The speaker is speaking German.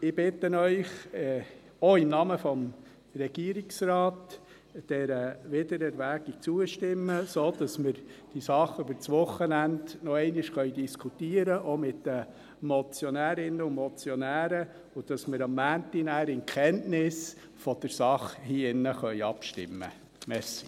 Ich bitte Sie, auch im Namen des Regierungsrates, dieser Wiedererwägung zuzustimmen, sodass wir diese Sache über das Wochenende noch einmal diskutieren können, auch mit den Motionärinnen und den Motionären, und dass wir am Montag dann in Kenntnis der Sache hier im Saal abstimmen können.